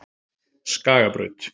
Skagabraut